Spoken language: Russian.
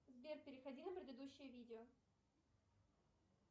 сбер переходи на предыдущее видео